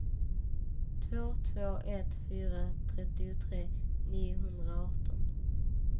två två ett fyra trettiotre niohundraarton